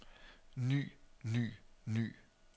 ny ny ny